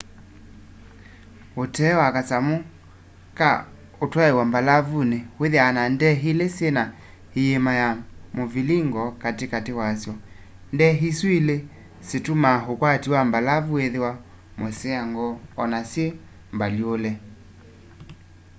ũtee wa kasamũ ka ũtwaĩa mbalavunĩ wĩthĩaa na ndee ilĩ syĩna ĩima ya mũvilingo katĩ katĩ wa sy'o ndee isu ilĩ situmaa ũkwati wa mbalavu wĩthĩwa mũseango o na syĩ mbalyũũle